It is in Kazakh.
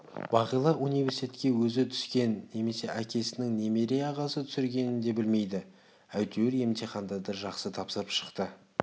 бағила университетке өзі түскенін немесе әкесінің немере ағасы түсіргенін де білмейді әйтеуір емтихандарды жақсы тапсырып шықты